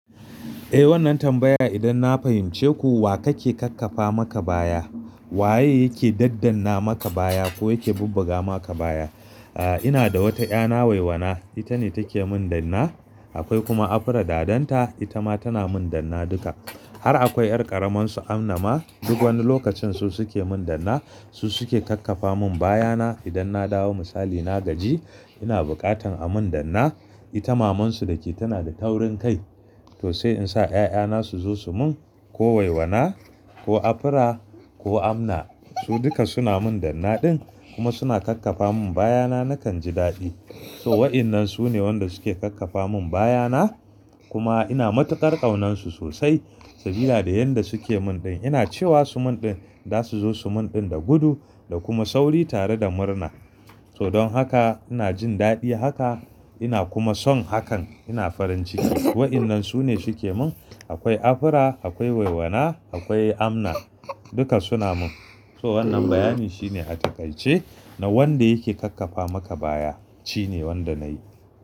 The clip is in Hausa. Eh, wannan tambaya idan na fahimce ku, wa kake kakkafa maka baya? Waye yake daddanna maka baya ko yake bubbuga maka baya? Ah, ina da wata 'ya na waiwana, ita ne take mun danna, akwai kuma Afra, dadanta, ita ma tana mun danna duka. Har akwai 'yar ƙaramarsu Amna ma, duk wani lokacin su suke mun danna. Su suke kakkafa mun bayana idan na dawo misali na gaji, ina bukatar a mun danna. Ita mamansu da ke tana da taurin kai. To sai in sa 'ya'yana su zo su mun ko waiwana, ko Afra, ko Amna. Su duka suna mun danna ɗin kuma suna kakkafa mun bayana nakan ji daɗi. To wa'innan su ne wanda suke kakkafa mun bayana kuma ina matuƙar ƙaunarsu sosai sabida da yanda suke mun ɗin. Ina cewa su mun din, za su zo su mun din da gudu da kuma sauri tare da murna. To don haka ina jin daɗi haka ina kuma son hakan. Ina farin ciki. Wa'innan sune suke mun, akwai Afra, akwai Waiwana, akwai Amna, duka suna mun. To wannan bayani shine a taƙaice na wanda yake kakkafa maka baya shine wanda na yi.